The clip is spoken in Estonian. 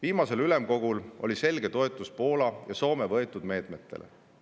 Viimasel ülemkogul oli selge toetus Poola ja Soome võetud meetmetele.